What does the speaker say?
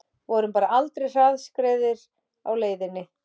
Vorum bara aldrei hraðskreiðir á leiðinni